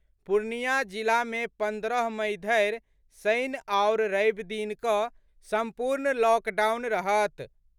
पूर्णियां जिला मे पन्द्रह मई धरि शनि आओर रवि दिन कऽ सम्पूर्ण लॉकडाउन रहत।